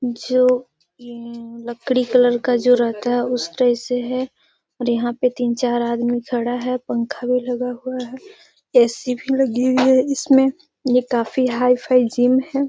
जो लकड़ी कलर का जो रहता है उस तरह से है और यहाँ पे तीन चार आदमी खड़ा है पंखा भी लगा हुआ है ए.सी. भी लगी हुई है इसमें ये काफी हाई-फाई जिम है।